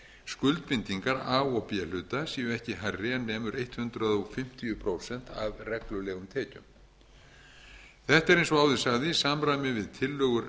heildarskuldbindingar a og b hluta séu ekki hærri en nemur hundrað fimmtíu prósent af reglulegum tekjum þetta er eins og áður sagði í samræmi við tillögur